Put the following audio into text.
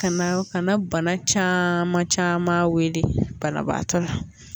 Ka na ka na bana caman wele banabaatɔ la